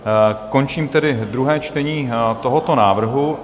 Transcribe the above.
Končím tedy druhé čtení tohoto návrhu.